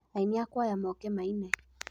Aĩni a kwaya moke maine.